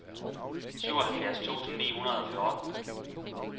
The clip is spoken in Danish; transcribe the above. syvoghalvfjerds tusind ni hundrede og fjorten